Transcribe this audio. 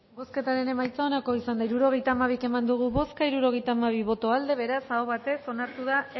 bozketaren emaitza onako izan da hirurogeita hamabi eman dugu bozka hirurogeita hamabi boto aldekoa beraz aho batez onartu da